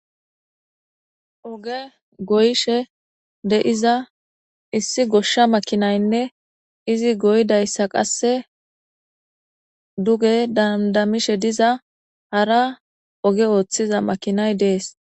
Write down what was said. oge goyishe de'iza issi goshsha makinaynne izi goydayssa qasse duge dandamishe diza hara oge ooththiza makinay dees